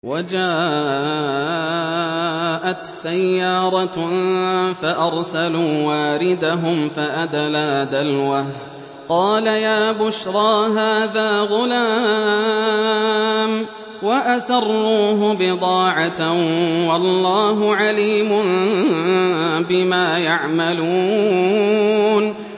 وَجَاءَتْ سَيَّارَةٌ فَأَرْسَلُوا وَارِدَهُمْ فَأَدْلَىٰ دَلْوَهُ ۖ قَالَ يَا بُشْرَىٰ هَٰذَا غُلَامٌ ۚ وَأَسَرُّوهُ بِضَاعَةً ۚ وَاللَّهُ عَلِيمٌ بِمَا يَعْمَلُونَ